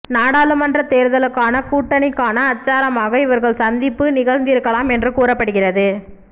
நாடாளுமன்ற தேர்தலுக்கான கூட்டணிக்கான அச்சாரமாக இவர்கள் சந்திப்பு நிகழ்ந்திருக்கலாம் என்றும் கூறப்படுகிறது